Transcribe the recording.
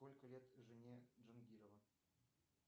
сколько лет жене джангирова